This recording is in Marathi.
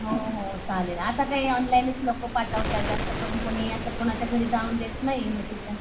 हो हो आता काय ऑनलाइनच लोक पाठवलाय जास्त करून कोणी असं कोणाच्या घरी जाऊन देत नाही इन्व्हिटेशन.